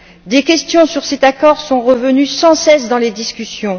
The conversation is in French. Des questions sur cet accord sont revenues sans cesse dans les discussions.